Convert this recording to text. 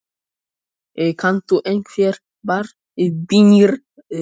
Kanntu einhverjar bænir, vina?